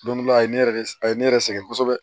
Don dɔ la a ye ne yɛrɛ de a ye ne yɛrɛ sɛgɛn kosɛbɛ